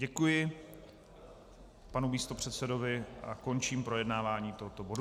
Děkuji panu místopředsedovi a končím projednávání tohoto bodu.